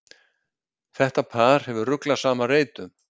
Þetta par hefur ruglað saman reytum.